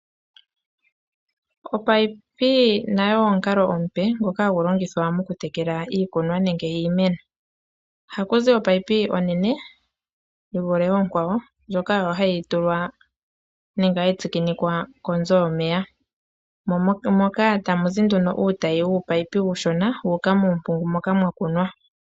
Omunino nago omukalo omupe ngoka hagu longithwa mokutekela iikunwa nenge iimeno. Ohaku zi omunino omunene guvule oonkwawo ngoka hagu tulwa nenge hagu tsikinikwa konzo yomeya moka tamuzi nduno uutayi wuumunino uushona wuuka miimpungu moka mwa kunwa.